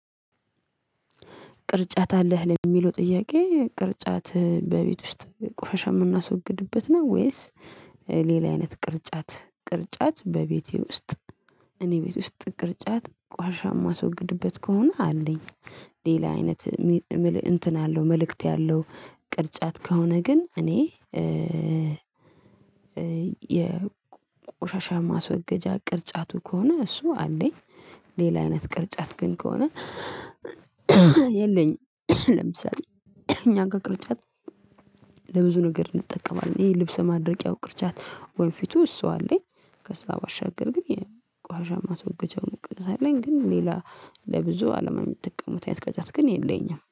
ቅርጫት አለህ ለሚለው ጥያቄ ቅርጫት በቤት ውስጥ ቆሻሻ የምናስወግድበት ነው ወይስ? ሌላ አይነት ቅርጫት ቅርጫት በቤቴ ውስጥ እኔ ቤት ውስጥ ቅርጫት ቆሻሻ የማስወግድበት ከሆነ አለኝ። ሌላ አይነት። እንትን አለው መልእክት ያለው ቅርጫት ከሆነ ግን እኔ የቆሻሻ ማስወገጃ ቅርጫቱ ከሆነ እሱ አለኝ። ሌላ አይነት ቅርጫት ግን ከሆነ የለኝም። ለምሳሌ እኛ ጋር ከቅርጫት ለብዙ ነገር እንጠቀማለን ይሄ ልብስ ማድረቂያው ቅርጫት ወንፊቱ እሱ አለኝ። ከዛ ባሻገር ግን የቆሻሻ ማስወገጃውን ቅርጫት አለኝ ግን ሌላ ለብዙ አለማ የምጠቀመው አይነት ቅርጫት ግን የለኝም